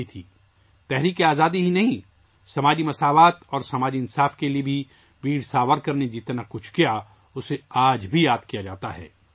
نہ صرف تحریک آزادی بلکہ ویر ساورکر نے سماجی مساوات اور سماجی انصاف کے لیے جو کچھ بھی کیا اسے آج بھی یاد کیا جاتا ہے